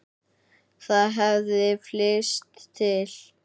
Það hefði flykkst til